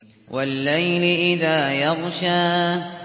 وَاللَّيْلِ إِذَا يَغْشَىٰ